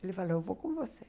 Ele falou, eu vou com você.